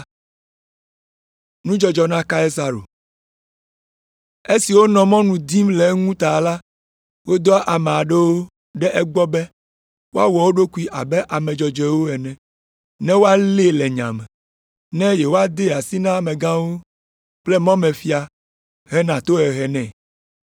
Esi wonɔ mɔnu dim le eŋu ta la, wodɔ ame aɖewo ɖe egbɔ be woawɔ wo ɖokuiwo abe ame dzɔdzɔewo ene, ne woalée le nya me, ne yewoadee asi na amegãwo kple mɔmefia hena tohehe nɛ.